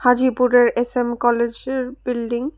হাজীপুরের S M কলেজের building.